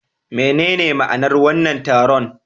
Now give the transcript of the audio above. Menene ma'anar wannan taron?